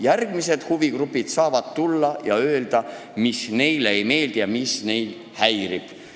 Järgmised huvigrupid saavad tulla ja öelda, mis neile ei meeldi ja mis neid häirib.